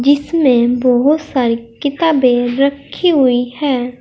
इसमें बहुत सारी किताबें रखी हुई हैं।